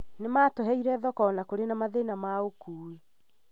Nĩ matũheire thoko o na kũrĩ na mathĩna ma ũkui